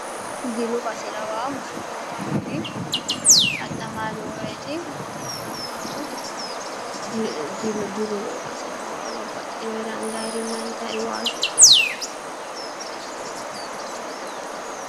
Jilu base lawanno mushurrootaho kuri adhamanni nooreeti meyaatinna labbaahu jilu noo baase lawanno babbaxino anganirinna intannirinna waasu ofolle no.